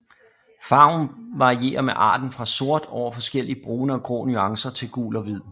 Farven varierer med arten fra sort over forskellige brune og grå nuancer til gul og hvid